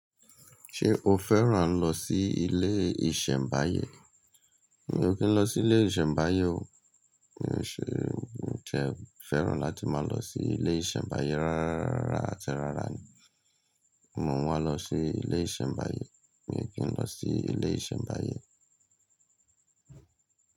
Ṣé o fẹ́ràn lọ sí ilé ìsẹ̀mbáyé? Mi ò kí n lọ sí ilé ìsẹ̀mbáyé o. Mi ò ṣe, mi tẹ fẹ́ràn láti máa lọ sí ilé ìsẹ̀mbáyé rárá rárá àti rárá ni. Mò ń wá lọ sí ilé ìsẹ̀mbáyé, mi ò kí n lọ sí ilé ìsẹ̀mbáyé.